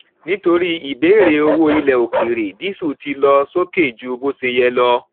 nítorí ìbéèrè owó ilẹ òkèèrè dísù ti lọ sókè ju bó ṣe yẹ lọ